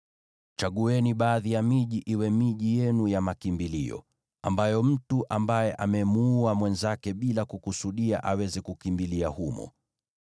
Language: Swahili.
chagueni baadhi ya miji iwe miji yenu ya makimbilio, ambayo mtu ambaye ameua mwenzake bila kukusudia aweza kukimbilia humo.